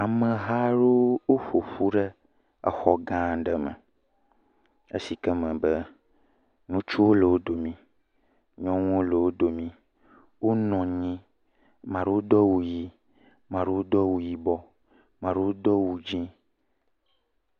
Ameha aɖewo woƒoƒu ɖe exɔ gã aɖe me, esike me be, ŋutsuwo le wo domi, nyɔnuwo le wo domi, wonɔ anyi, amea ɖewo do awu ʋɛ̃, amea ɖewo do awu yibɔ, amea ɖewo do awu dzɛ̃.